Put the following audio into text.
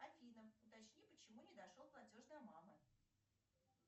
афина уточни почему не дошел платеж до мамы